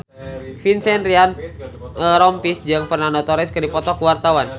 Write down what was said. Vincent Ryan Rompies jeung Fernando Torres keur dipoto ku wartawan